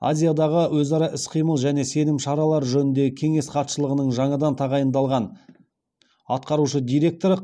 азиядағы өзара іс қимыл және сенім шаралары жөніндегі кеңес хатшылығының жаңадан тағайындалған атқарушы директоры